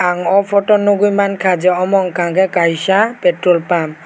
ang o photo o nogoi mangka je amo hingka kei kaisa petrol pump.